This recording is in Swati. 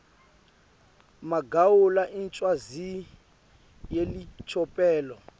magawula incwadzi yelicophelo